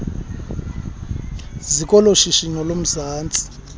ziko loshishino lomzantsi